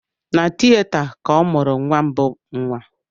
Na tieta ka ọ mụrụ nwa mbụ nwa